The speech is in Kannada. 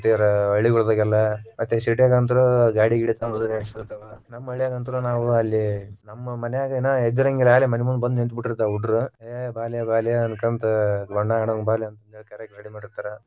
ಹಳ್ಳಿಗ ಹೋದಾಗೆಲ್ಲಾ ಮತ್ತೆ city ನಮ್ಮ ಹಳ್ಳ್ಯಾಗ ಅಂತರು ನಾವು ಅಲ್ಲೇ ನಮ್ಮ ಮನ್ಯಾಗ ಇನ್ನು ಎದ್ದಿರಂಗಿಲ್ಲಾ ಆಗಲೇ ಬಂದ ನಿಂತ ಬಿಟ್ಟಿರ್ತಾವ ಹುಡ್ರು ಏ ಬಾಲೆ ಬಾಲೆ ಅನ್ಕೊಂತ ಬಣ್ಣ ಆಡುನ ಬಾಲೆ ಅಂತ ಕರಿಯಾಕ ready ಮಾಡಿರ್ತಾರ.